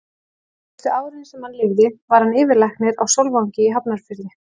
Síðustu árin, sem hann lifði, var hann yfirlæknir á Sólvangi í Hafnarfirði.